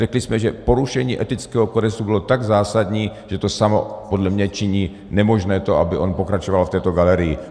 Řekli jsme, že porušení etického kodexu bylo tak zásadní, že to samo podle mě činí nemožné to, aby on pokračoval v této galerii.